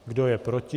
Kdo je proti?